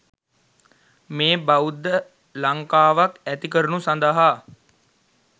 මේ බෞද්ධ ලංකාවක් ඇති කරනු සඳහා